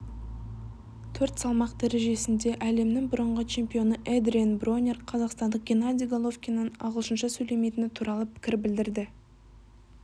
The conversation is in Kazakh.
төрт салмақ дәрежесінде әлемнің бұрынғы чемпионы эдриен бронер қазақстандық геннадий головкиннің ағылшынша сөйлемейтіні туралы пікір білдірді